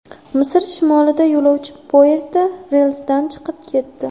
Misr shimolida yo‘lovchi poyezdi relsdan chiqib ketdi.